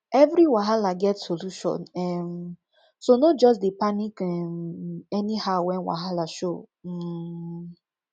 evri wahala get solution um so no jus dey panic um anyhow wen wahala show um